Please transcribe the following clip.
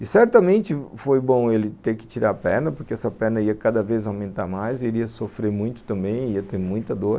E certamente foi bom ele ter que tirar a perna, porque essa perna ia cada vez aumentar mais, ele ia sofrer muito também, ia ter muita dor.